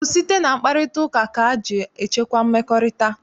Ọ bụ site na mkparịtaụka ka eji echekwa mmekọrịta?